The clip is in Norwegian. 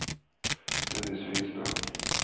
Dennis Finstad